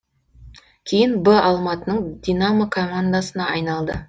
кейін б алматының динамо командасына айналды